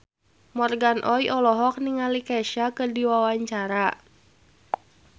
Morgan Oey olohok ningali Kesha keur diwawancara